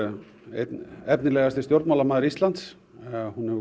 einn efnilegasti stjórnmálamaður Íslands hún hefur